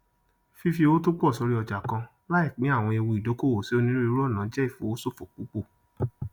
fífí owó tópọ sorí ọjà kan láì pín àwọn ewu ìdókòwò sí onírúurú ọnà jẹ ìfowó sòfò púpù